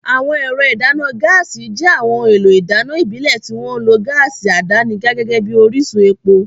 Àwọn ẹ̀rọ ìdáná gáàsì jẹ́ àwọn ohun èlò ìdáná ìbílẹ̀ tí wọ́n ń lo gáàsì àdánidá gẹ́gẹ́ bí orísun epo.